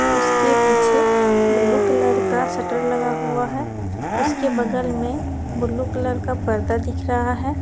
उसके पीछे blue colour का शटर लगा हुआ है उसके बगल में ब्लू कलर का पर्दा दिख रहा है।